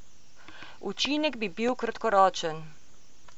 Učinek bi bil kratkoročen.